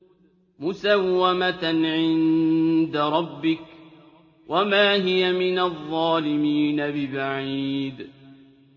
مُّسَوَّمَةً عِندَ رَبِّكَ ۖ وَمَا هِيَ مِنَ الظَّالِمِينَ بِبَعِيدٍ